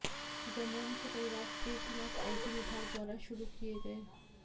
चिदंबरम के परिवार के खिलाफ आईटी विभाग द्वारा शुरू किये गये